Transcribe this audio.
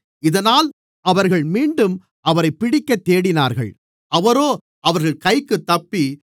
இதனால் அவர்கள் மீண்டும் அவரைப் பிடிக்கத் தேடினார்கள் அவரோ அவர்கள் கைக்குத் தப்பி